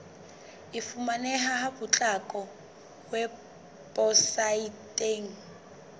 e fumaneha ka potlako weposaeteng